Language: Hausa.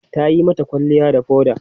Ta yi mata kwalliya da foda.